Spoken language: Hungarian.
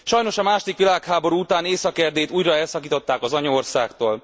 Sajnos a második világháború után Észak Erdélyt újra elszakították az anyaországtól.